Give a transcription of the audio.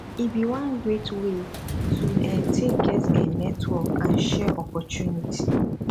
e bi one great way to um take get um network and share opportunity